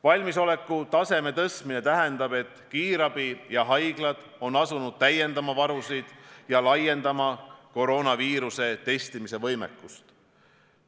Valmisoleku taseme tõstmine tähendab, et kiirabi ja haiglad on asunud täiendama varusid ja laiendama koroonaviiruse testimise võimekust.